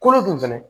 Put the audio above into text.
Kolo dun fɛnɛ